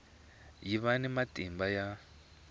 yi va ni matimba ya